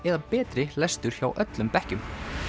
eða betri lestur hjá öllum bekkjum